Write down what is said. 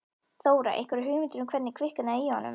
Þóra: Einhverja hugmynd um hvernig kviknaði í honum?